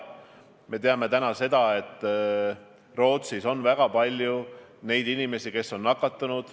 Me teame, et Rootsis on väga palju inimesi, kes on nakatunud.